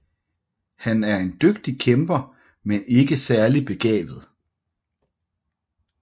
Han er en dygtig kæmper men ikke særlig begavet